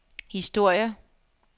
historier